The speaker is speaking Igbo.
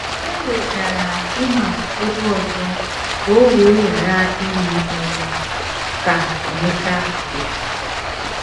“ E wegara Ịnọk ebe ọzọ ka o wee ghara ịhụ ọnwụ, ” ka Emeka dere.